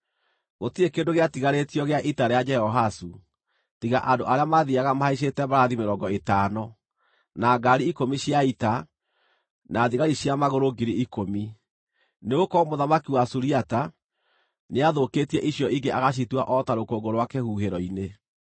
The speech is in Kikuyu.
Gũtirĩ kĩndũ gĩatigarĩtio gĩa ita rĩa Jehoahazu, tiga andũ arĩa maathiiaga mahaicĩte mbarathi mĩrongo ĩtano, na ngaari ikũmi cia ita, na thigari cia magũrũ 10,000, nĩgũkorwo mũthamaki wa Suriata nĩathũkĩtie icio ingĩ agĩcitua o ta rũkũngũ rwa kĩhuhĩro-inĩ.